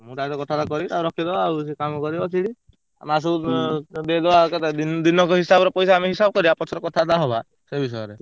ମୁ ତା ସହ କଥାବାର୍ତା କରିବି ଟାକୁ ରଖେଇଦବା ଆଉ ସିଏ କାମ କରିବ ସେଇଠି ଆଉ ମାସକୁ ଦେଇଦବା କେତେ ଦିନକ ହିସାବର ପଇସା ଆମେ ହିସାବ କରିଆ ପଛରେ କଥାବାର୍ତା ହବା ସେ ବିଷୟରେ।